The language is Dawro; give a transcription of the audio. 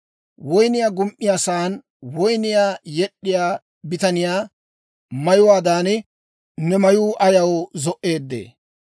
Woynniyaa gum"iyaasan woyniyaa yed'd'iyaa bitaniyaa mayuwaadan, ne mayuu ayaw zo"eedee?